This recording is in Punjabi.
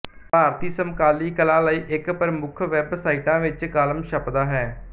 ਭਾਰਤੀ ਸਮਕਾਲੀ ਕਲਾ ਲਈ ਇੱਕ ਪ੍ਰਮੁੱਖ ਵੈਬਸਾਈਟਾਂ ਵਿੱਚ ਕਾਲਮ ਛਪਦਾ ਹੈ